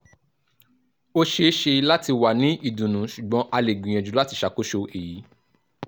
o ṣeeṣe lati wa ni idunnu ṣugbọn a le gbiyanju lati ṣakoso eyi